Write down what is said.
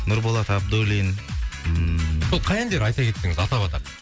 нұрболат абдуллин ммм сол қай әндері айта кетсеңіз атап атап